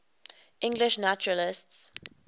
english naturalists